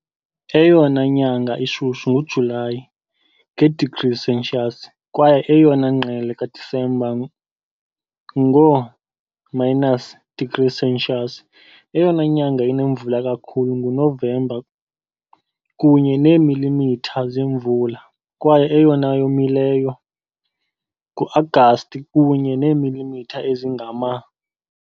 Eyona nyanga ishushu nguJulayi, nge degrees Celsius, kwaye eyona ngqele kaDisemba, ngoo-minus degrees Celsius. Eyona nyanga inemvula kakhulu nguNovemba, kunye neemilimitha zemvula, kwaye eyomileyo nguAgasti, kunye neemilimitha ezingama.